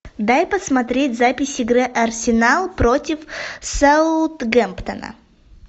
дай посмотреть запись игры арсенал против саутгемптона